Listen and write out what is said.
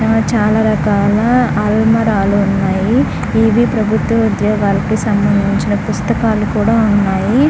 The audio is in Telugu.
ఇక్కడ చాలా రకాల అల్మరాలు ఉన్నాయి ఇది ప్రభుత్వ ఉద్యోగాలకు సంబంధించిన పుస్తకాలు కూడా ఉన్నాయి.